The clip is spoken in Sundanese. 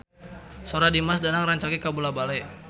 Sora Dimas Danang rancage kabula-bale